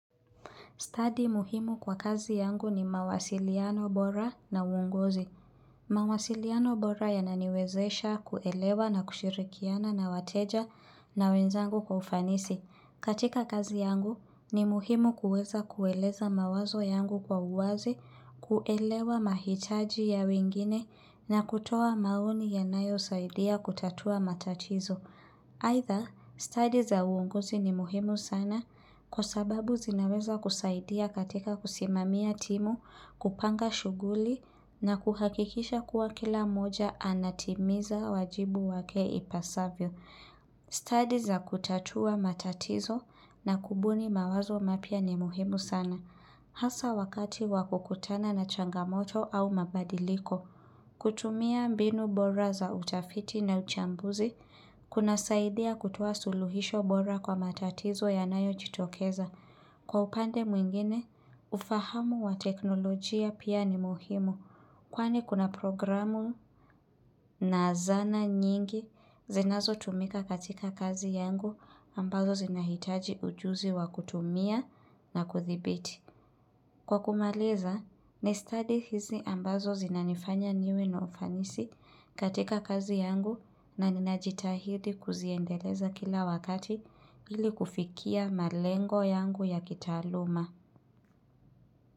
Study muhimu kwa kazi yangu ni mawasiliano bora na uonguzi. Mawasiliano bora yananiwezesha kuelewa na kushirikiana na wateja na wenzangu kwa ufanisi. Katika kazi yangu ni muhimu kuweza kueleza mawazo yangu kwa uwazi, kuelewa mahitaji ya wengine na kutoa maoni yanayosaidia kutatua matatizo. Either study za uonguzi ni muhimu sana kwa sababu zinaweza kusaidia katika kusimamia timu, kupanga shughuli na kuhakikisha kuwa kila mmoja anatimiza wajibu wake ipasavyo. Study za kutatua matatizo na kubuni mawazo mapya ni muhimu sana. Hasa wakati wa kukutana na changamoto au mabadiliko, kutumia mbinu bora za utafiti na uchambuzi, kunasaidia kutoa suluhisho bora kwa matatizo yanayojitokeza. Kwa upande mwingine, ufahamu wa teknolojia pia ni muhimu, kwani kuna programu na zana nyingi zinazotumika katika kazi yangu ambazo zinahitaji ujuzi wa kutumia na kuthibiti. Kwa kumaliza, ni stadi hizi ambazo zinanifanya niwe na ufanisi katika kazi yangu na ninajitahidi kuziendeleza kila wakati ili kufikia malengo yangu ya kitaaluma.